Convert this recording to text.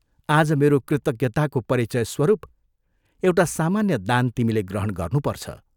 आज मेरो कृतज्ञताको परिचयस्वरूप एउटा सामान्य दान तिमीले ग्रहण गर्नुपर्छ।